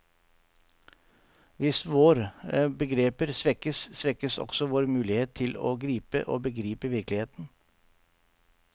Hvis våre begreper svekkes, svekkes også vår mulighet til å gripe og begripe virkeligheten.